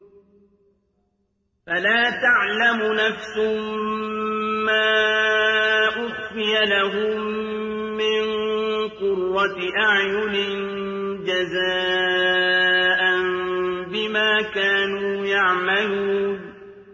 فَلَا تَعْلَمُ نَفْسٌ مَّا أُخْفِيَ لَهُم مِّن قُرَّةِ أَعْيُنٍ جَزَاءً بِمَا كَانُوا يَعْمَلُونَ